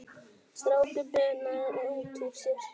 Strákur bunaði út úr sér